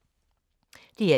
DR1